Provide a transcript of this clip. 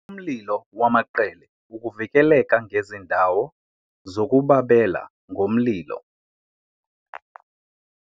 Umlilo wamaqele ukuvikeleka ngezindawo zokubabela ngomlilo.